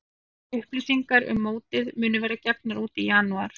Frekari upplýsingar um mótið munu verða gefnar út í janúar.